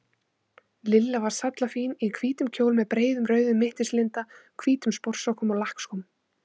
Lilla var sallafín í hvítum kjól með breiðum rauðum mittislinda, hvítum sportsokkum og lakkskóm.